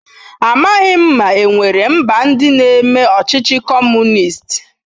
Amaghị m ma e nwere mba ndị na-eme ọchịchị Kọmunist.